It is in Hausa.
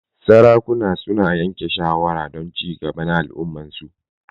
Sarakuna su na yanke shawara don ci gaba na al'umman su.